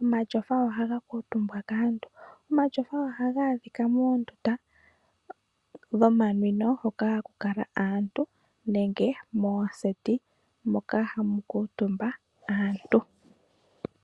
Omatyofa ohaga kuutumbwa kaantu. Omatyofa ohaga adhika moondunda dhomanwino hoka haku kala aantu nenge mooseti moka hamu kutumba aantu.